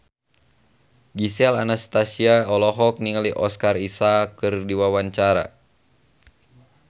Gisel Anastasia olohok ningali Oscar Isaac keur diwawancara